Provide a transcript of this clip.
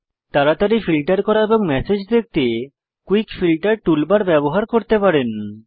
তাড়াতাড়ি ফিল্টার করা এবং ম্যাসেজ দেখতে কুইক ফিল্টার টুলবার ব্যবহার করতে পারেন